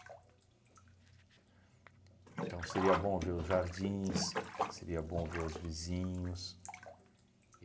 Então, seria bom ver os jardins, seria bom ver os vizinhos.